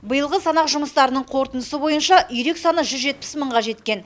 биылғы санақ жұмыстарының қорытындысы бойынша үйрек саны жүз жетпіс мыңға жеткен